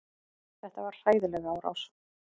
Þetta var hræðileg árás.